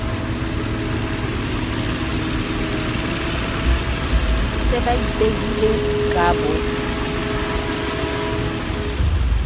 se ba ipehileng ka bo